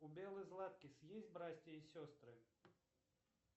у беллы златкис есть братья и сестры